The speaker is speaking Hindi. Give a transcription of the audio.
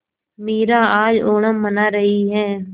मीरा आज ओणम मना रही है